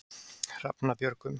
Hrafnabjörgum